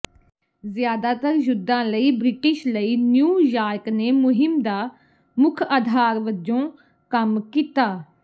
ਜ਼ਿਆਦਾਤਰ ਯੁੱਧਾਂ ਲਈ ਬ੍ਰਿਟਿਸ਼ ਲਈ ਨਿਊ ਯਾਰਕ ਨੇ ਮੁਹਿੰਮ ਦਾ ਮੁੱਖ ਆਧਾਰ ਵੱਜੋਂ ਕੰਮ ਕੀਤਾ